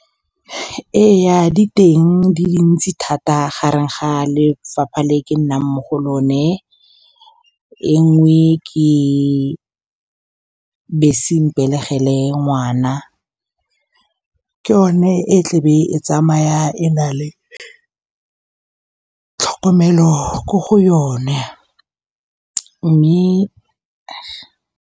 Ee, di teng di dintsi thata. Gareng ga lefapha le ke nnang mo go lone, e nngwe ke bese mpelegele ngwana, e leng yone e tlabe e tsamaya e na le tlhokomelo ko go yone, mme.